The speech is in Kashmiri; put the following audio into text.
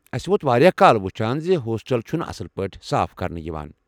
اسہِ ووت واریاہ کال وٗچھان زِ ہوسٹل چھِنہٕ اصٕل پٲٹھۍ صاف کرنہٕ یوان ۔